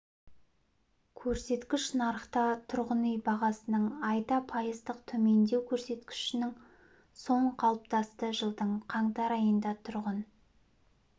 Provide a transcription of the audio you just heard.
көрсеткіш нарықта тұрғын үй бағасының айда пайыздық төмендеу көрсеткішінен соң қалыптасты жылдың қаңтар айында тұрғын